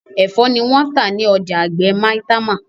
ẹfọ ni wón tá ní ọjà àgbè Maitama